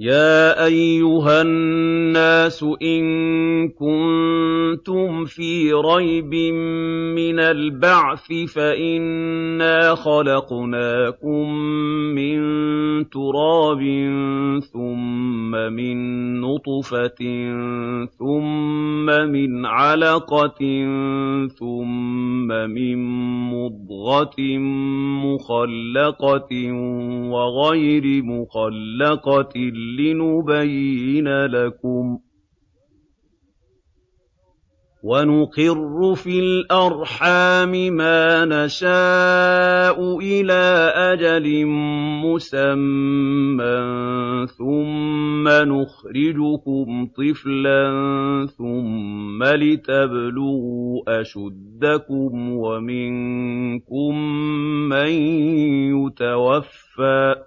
يَا أَيُّهَا النَّاسُ إِن كُنتُمْ فِي رَيْبٍ مِّنَ الْبَعْثِ فَإِنَّا خَلَقْنَاكُم مِّن تُرَابٍ ثُمَّ مِن نُّطْفَةٍ ثُمَّ مِنْ عَلَقَةٍ ثُمَّ مِن مُّضْغَةٍ مُّخَلَّقَةٍ وَغَيْرِ مُخَلَّقَةٍ لِّنُبَيِّنَ لَكُمْ ۚ وَنُقِرُّ فِي الْأَرْحَامِ مَا نَشَاءُ إِلَىٰ أَجَلٍ مُّسَمًّى ثُمَّ نُخْرِجُكُمْ طِفْلًا ثُمَّ لِتَبْلُغُوا أَشُدَّكُمْ ۖ وَمِنكُم مَّن يُتَوَفَّىٰ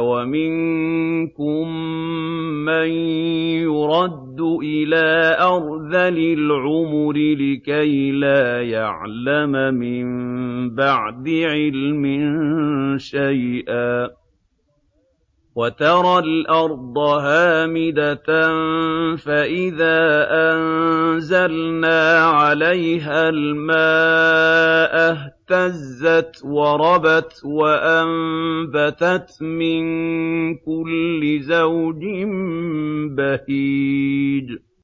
وَمِنكُم مَّن يُرَدُّ إِلَىٰ أَرْذَلِ الْعُمُرِ لِكَيْلَا يَعْلَمَ مِن بَعْدِ عِلْمٍ شَيْئًا ۚ وَتَرَى الْأَرْضَ هَامِدَةً فَإِذَا أَنزَلْنَا عَلَيْهَا الْمَاءَ اهْتَزَّتْ وَرَبَتْ وَأَنبَتَتْ مِن كُلِّ زَوْجٍ بَهِيجٍ